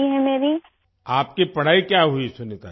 سنیتا جی، آپ کی پڑھائی کہاں تک ہوئی ؟